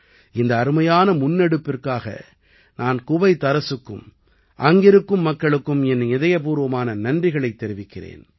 இந்த அருமையான முன்னெடுப்பிற்காக நான் குவைத் அரசுக்கும் அங்கிருக்கும் மக்களுக்கும் என் இதயப்பூர்வமான நன்றிகளைத் தெரிவிக்கிறேன்